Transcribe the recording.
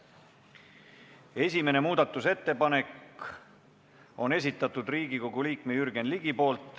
Esimese muudatusettepaneku on esitanud Riigikogu liige Jürgen Ligi.